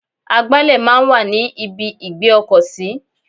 Agbálẹ̀ máa ń wà ní ibi ìgbé ọkọ̀ sí.